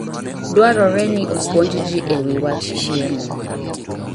Dwarore ni opuonj ji e wi wach chiemo.